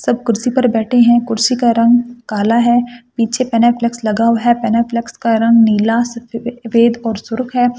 सब कुर्सी पर बैठे हैं कुर्सी का रंग काला है पीछे प्लेन फ्लेक्स लगा हुआ है प्लेन फ्लेक्स का रंग नीला सफेद और सुर्ख है।